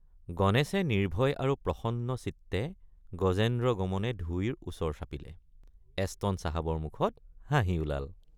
গণেশে নিৰ্ভয় আৰু প্ৰসন্নচিত্তে গজেন্দ্ৰগমনে ধুইৰ ওচৰ চাপিলে এছটন চাহাবৰ মুখত হাঁহি ওলাল।